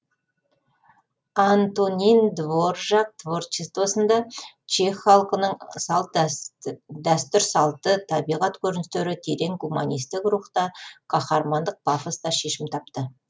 антонин дворжак творчествосында чех халқының дәстур салты табиғат көріністері терең гуманисттік рухта каһармандық пафоста шешім тапты